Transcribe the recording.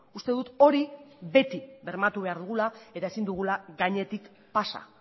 uste dut hori beti bermatu behar dugula eta ezin dugula gainetik pasa